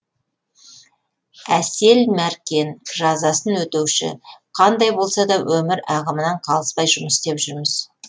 әсел мәркен жазасын өтеуші қандай болса да өмір ағымынан қалыспай жұмыс істеп жүрміз